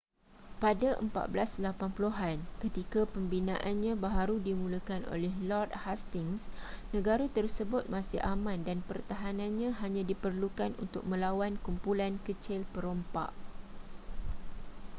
pada 1480-an ketika pembinaannya baharu dimulakan oleh lord hastings negara tersebut masih aman dan pertahanannya hanya diperlukan untuk melawan kumpulan kecil perompak